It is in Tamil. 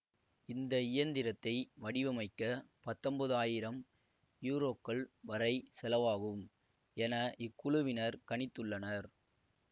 இந்த இயந்திரத்தை வடிவமைக்க பத்தொன்பது ஆயிரம் யூரோக்கள் வரை செலவாகும் என இக்குழுவினர் கணித்துள்ளனர்